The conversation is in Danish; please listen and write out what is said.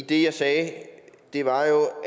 det jeg sagde var jo